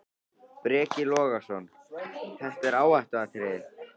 Breki Logason: Þetta er áhættuatriði?